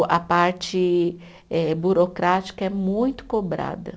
A parte eh burocrática é muito cobrada.